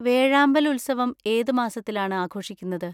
വേഴാമ്പൽ ഉത്സവം ഏത് മാസത്തിലാണ് ആഘോഷിക്കുന്നത്?